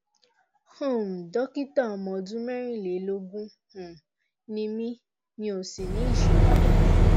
um dókítà ọmọ ọdún mẹ́rìnlélógún um ni mí mi ò sì ní ìṣòro kankan